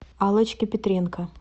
аллочки петренко